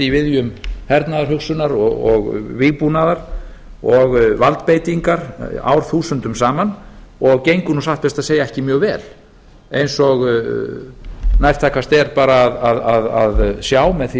í viðjum hernaðarhugsunar og vígbúnaðar og valdbeitingar árþúsundum saman og gengur nú satt best að segja ekki mjög vel eins og nærtækast er bara að sjá með því